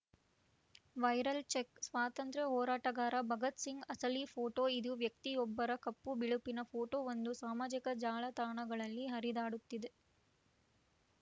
viral check ಸ್ವಾತಂತ್ರ್ಯ ಹೋರಾಟಗಾರ ಭಗತ್‌ಸಿಂಗ್‌ ಅಸಲಿ ಫೋಟೋ ಇದು ವ್ಯಕ್ತಿಯೊಬ್ಬರ ಕಪ್ಪುಬಿಳುಪಿನ ಫೋಟೋವೊಂದು ಸಾಮಾಜಿಕ ಜಾಲತಾಣಗಳಲ್ಲಿ ಹರಿದಾಡುತ್ತಿದೆ